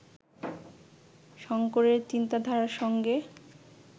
শঙ্করের চিন্তাধারার সঙ্গে